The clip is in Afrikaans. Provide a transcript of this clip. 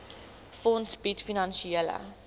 fonds bied finansiële